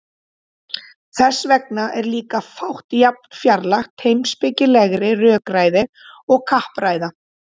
þess vegna er líka fátt jafn fjarlægt heimspekilegri rökræðu og kappræða